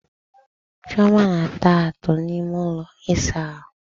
Chioma na-ata atụ n'ime ụlọ ịsa ahụ.